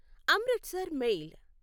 Amritsar mail